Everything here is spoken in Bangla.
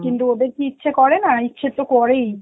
কিন্তু ওদের কি ইচ্ছা করে না, ইচ্ছে তো করেই